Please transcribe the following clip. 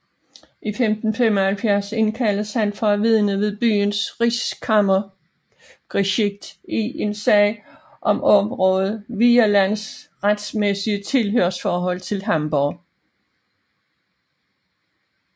I 1575 indkaldes han for at vidne ved byens Reichskammergericht i en sag om området Vierlandes retmæssige tilhørsforhold til Hamborg